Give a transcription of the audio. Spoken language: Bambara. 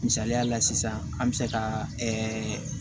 Misaliya la sisan an bɛ se ka ɛɛ